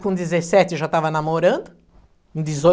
Com dezessete já estava namorando. Dezoito